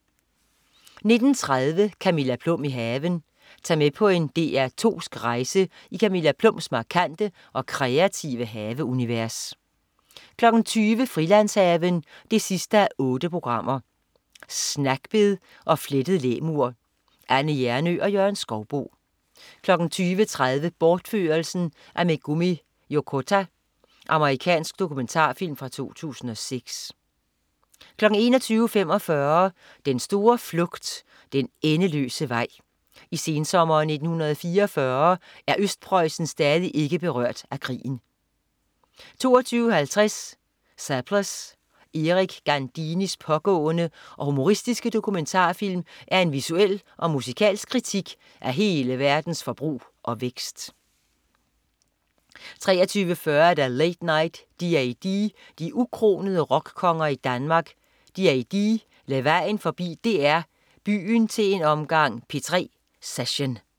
19.30 Camilla Plum i haven. Tag med på en DR2sk rejse i Camilla Plums markante og kreative haveunivers 20.00 Frilandshaven 8:8. Snackbed og flettet læmur. Anne Hjernøe og Jørgen Skouboe 20.30 Bortførelsen af Megumi Yokota. Amerikansk dokumentarfilm fra 2006 21.45 Den store flugt, den endeløse vej. I sensommeren 1944 er Østpreussen stadig ikke berørt af krigen 22.50 Surplus. Erik Gandinis pågående og humoristiske dokumentarfilm er en visuel og musikalsk kritik af hele verdens forbrug og vækst 23.40 Late Night D:A:D. De ukronede rockkonger i Danmark, D:A:D, lagde vejen forbi DR Byen til en omgang P3-session